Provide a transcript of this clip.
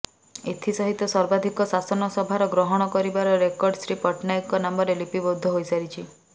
ଏଥିସହିତ ସର୍ବାଧିକ ଶାସନଭାର ଗ୍ରହଣ କରିବାର ରେକର୍ଡ ଶ୍ରୀ ପଟ୍ଟନାୟକଙ୍କ ନାମରେ ଲିପିବଦ୍ଧ ହୋଇସାରିଛି